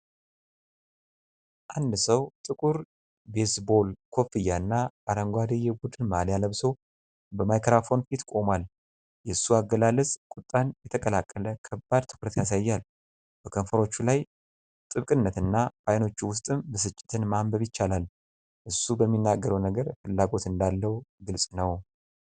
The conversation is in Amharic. አንድ ሰው ጥቁር ቤዝቦል ኮፍያና አረንጓዴ የቡድን ማልያ ለብሶ በማይክሮፎን ፊት ቆሟል። የእሱ አገላለጽ ቁጣን የተቀላቀለ ከባድ ትኩረት ያሳያል፤ በከንፈሮቹ ላይ ጥብቅነትና በዓይኖቹ ውስጥም ብስጭትን ማንበብ ይቻላል። እሱ በሚናገረው ነገር ፍላጎት እንዳለው ግልጽ ነው።